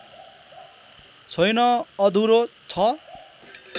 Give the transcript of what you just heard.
छैन अधुरो छ